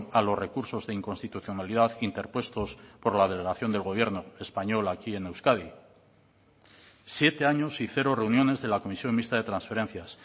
a los recursos de inconstitucionalidad interpuestos por la delegación del gobierno español aquí en euskadi siete años y cero reuniones de la comisión mixta de transferencias